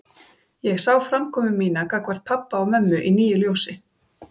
Ég sá framkomu mína gagnvart pabba og mömmu í nýju ljósi.